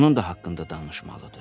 Onun da haqqında danışmalıdır.